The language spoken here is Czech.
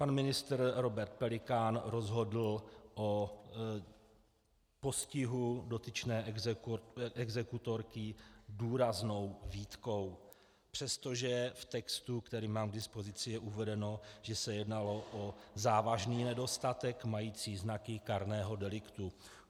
Pan ministr Robert Pelikán rozhodl o postihu dotyčné exekutorky důraznou výtkou, přestože v textu, který mám k dispozici, je uvedeno, že se jednalo o závažný nedostatek mající znaky kárného deliktu.